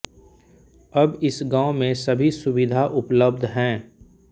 अब इस गांव में सभी सुविधा उपलब्ध हैं